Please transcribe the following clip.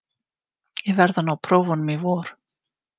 Ég verð að ná prófunum í vor.